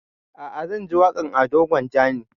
A'a zan ji waƙan ado gwanja ne